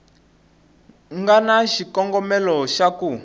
nga na xikongomelo xa ku